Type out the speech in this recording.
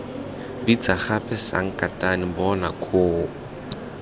bitsa gape sankatane bona koo